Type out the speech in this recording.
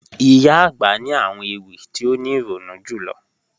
Iyà agbà ni àwọn ewi ti o ni ironu julọ